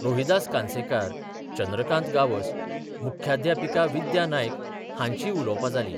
रोहिदास कानसेकार, चंद्रकांत गांवस, मुख्याध्यापिका विद्या नायक हांचींय उलोवपां जालीं.